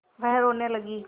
वह रोने लगी